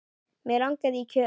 Mig langaði í kött.